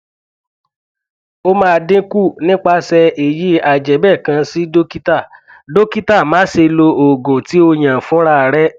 o ma dinku nipase eyi ajebe kan si dokita dokita ma se lo oogun ti oyan funrare